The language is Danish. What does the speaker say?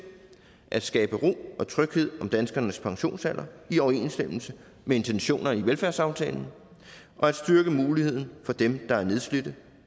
at skabe ro og tryghed om danskernes pensionsalder i overensstemmelse med intentionerne i velfærdsaftalen og at styrke muligheden for dem der er nedslidte